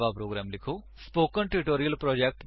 ਸੰਕੇਤ IF else IF statement ਦਾ ਪ੍ਰਯੋਗ ਕਰੋ